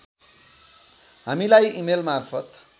हामीलाई इमेल मार्फत